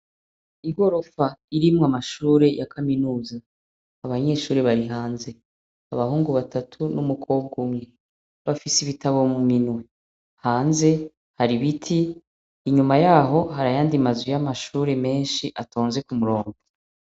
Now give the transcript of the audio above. Igorofa irimwo amashure ya kaminuza. Abanyeshure bari hanze, abahungu batatu n'umukobwa umwe. Bafise ibitabo mu minwe. Hanze har'ibiti, inyuma y'aho hari ayandi mazu y'amashure menshi atonze k'umurongo.